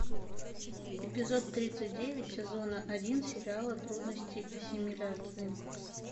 эпизод тридцать девять сезона один сериала трудности ассимиляции